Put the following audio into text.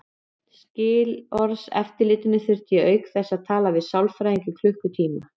Skilorðseftirlitinu þurfti ég auk þess að tala við sálfræðing í klukkutíma.